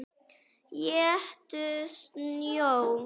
Éttu snjó.